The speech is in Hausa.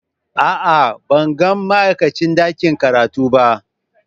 A'a, ban ga ma'aikacin ɗakin karatu ba.